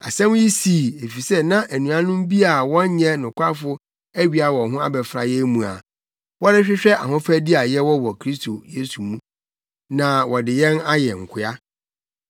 Asɛm yi sii, efisɛ na anuanom bi a wɔnyɛ nokwafo awia wɔn ho abɛfra yɛn mu a wɔrehwehwɛ ahofadi a yɛwɔ wɔ Kristo Yesu mu, na wɔde yɛn ayɛ nkoa.